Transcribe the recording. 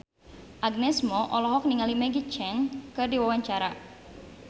Agnes Mo olohok ningali Maggie Cheung keur diwawancara